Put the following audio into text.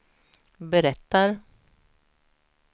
berättar